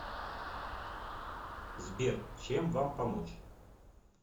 сбер чем вам помочь